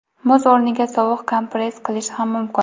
Muz o‘rniga sovuq kompress qilish ham mumkin.